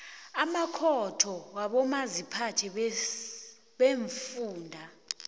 amakhotho wabomaziphathe beemfunda